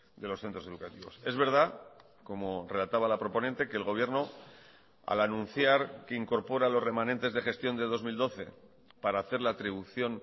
de los centros educativos es verdad como relataba la proponente que el gobierno al anunciar que incorpora los remanentes de gestión de dos mil doce para hacer la atribución